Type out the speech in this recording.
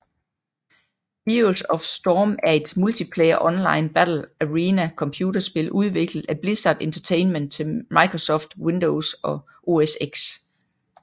Heroes of Storm er et multiplayer online battle arena computerspil udviklet af Blizzard Entertainment til Microsoft Windows og OS X